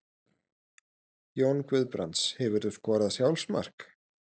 Jón Guðbrands Hefurðu skorað sjálfsmark?